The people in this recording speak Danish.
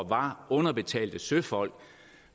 var underbetalte søfolk